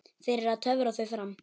Fyrir að töfra þau fram.